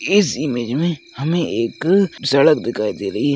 इस इमेज में हमे एक सड़क दिखाई दे रही है।